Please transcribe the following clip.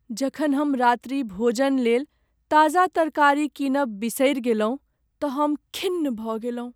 जखन हम रात्रि भोजनलेल ताजा तरकारी कीनब बिसरि गेलहुँ त हम खिन्न भ गेलहुँ।